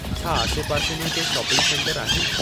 छा आसे पासे में के शोपिंग सेंटर आहिनि